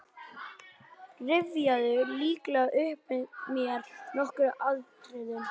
Rifjaðu lítillega upp með mér nokkur atriði.